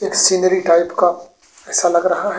एक scenery type का ऐसा लग रहा हैं।